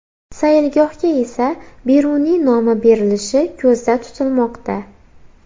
Saylgohga esa Beruniy nomi berilishi ko‘zda tutilmoqda.